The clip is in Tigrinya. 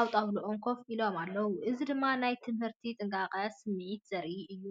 ኣብ ጣውላኦም ኮፍ ኢሎም ኣለዉ። እዚ ድማ ናይ ትምህርትን ጥንቃቐን ስምዒት ዘርኢ እዩ።